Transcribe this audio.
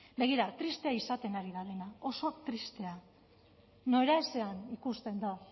begira tristea izaten ari da dena oso tristea noraezean ikusten da